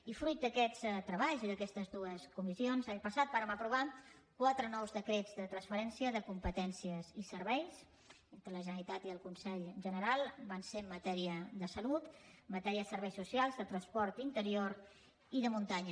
i fruit d’aquests treballs i d’aquestes dues comis sions l’any passat vàrem aprovar quatre nous decrets de transferència de competències i serveis entre la generalitat i el consell general van ser en matèria de salut en matèria de serveis socials de transport interior i de muntanya